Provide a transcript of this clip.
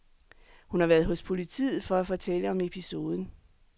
Hun har været hos politiet for at fortælle om episoden.